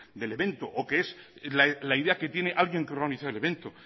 del evento o que es la idea que tiene alguien que ha organizado el evento